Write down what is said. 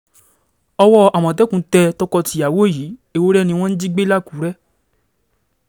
owó àmọ̀tẹ́kùn tẹ tọkọ-tìyàwó yìí ewúrẹ́ ni wọ́n jí gbé làkùrẹ́